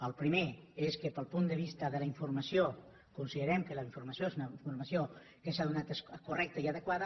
el primer és que pel punt de vista de la informació considerem que la informació és una informació que s’ha donat correcta i adequada